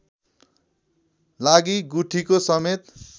लागि गुठीको समेत